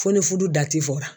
Fo ni fudu dati fɔra.